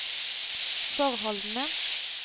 forholdene